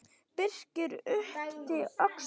Birkir yppti öxlum.